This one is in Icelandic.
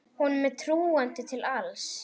Honum er trúandi til alls.